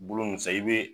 Bolo nin fɛn i be